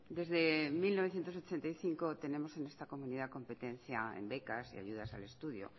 desde mil novecientos ochenta y cinco tenemos en esta comunidad competencia en becas y ayudas al estudio